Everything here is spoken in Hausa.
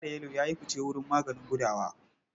Ja da yelo ya yi fice wajen maganin gudawa.